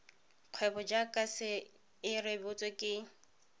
kgwebo jaaka se rebotswe ke